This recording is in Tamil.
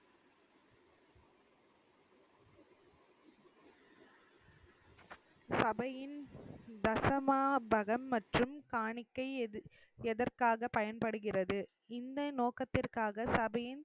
சபையின் தசமாபகம் மற்றும் காணிக்கை எது~ எதற்காக பயன்படுகிறது. இந்த நோக்கத்திற்காக சபையின்